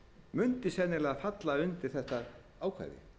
mundi sennilega falla undir þetta ákvæði